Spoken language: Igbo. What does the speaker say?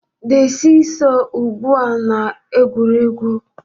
The see-saw ugbu a na egwuregwu